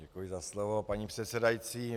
Děkuji za slovo, paní předsedající.